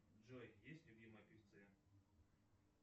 джой есть любимые певцы